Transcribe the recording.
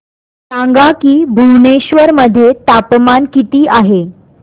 सांगा की भुवनेश्वर मध्ये तापमान किती आहे